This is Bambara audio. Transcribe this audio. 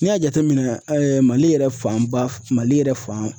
N'i y'a jateminɛ Mali yɛrɛ fan ba Mali yɛrɛ fan